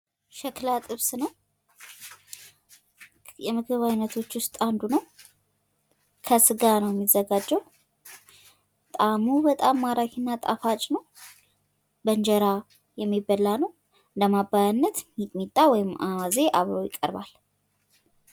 ሸክላ ጥብስ ነው ፤ የምግብ አይነቶች ዉስጥ አንዱ ነው ፤ ከስጋ ነው ሚዘጋጀዉ ፤ ጣእሙ በጣም ማራኪ እና ጣፋጭ ነው ፤ በእንጀራ የሚበላ ነው ፤ ለማባያነት ሚጥሚጣ ወይም አዋዜ አብሮ ይቀርባል።